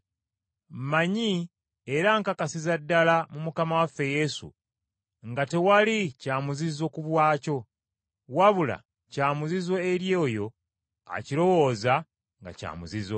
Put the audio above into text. Mmanyi era nkakasiza ddala mu Mukama waffe Yesu, nga tewali kya muzizo ku bwakyo, wabula kya muzizo eri oyo akirowooza nga kya muzizo.